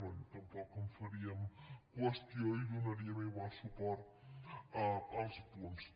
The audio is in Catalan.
bé tampoc en faríem qüestió i donaríem igual suport als punts